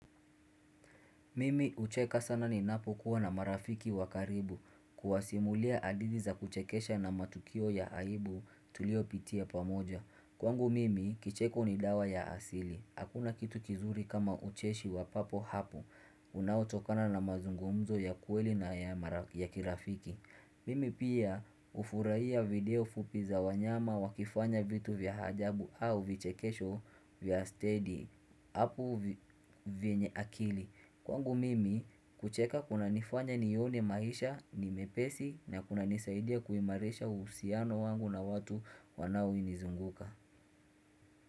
Mimi hucheka sana ninapo kuwa na marafiki wakaribu kuwasimulia hadithi za kuchekesha na matukio ya aibu tuliopitia pamoja. Kwangu mimi kicheko ni dawa ya asili. Hakuna kitu kizuri kama ucheshi wa papo hapo unaotokana na mazungumzo ya kweli na ya kirafiki. Mimi pia hufurahia video fupi za wanyama wakifanya vitu vya hajabu au vichekesho vya steady apo vienye akili. Kwangu mimi kucheka kuna nifanya nione maisha ni mepesi na kuna nisaidia kuimarisha uhusiano wangu na watu wanaonizunguka.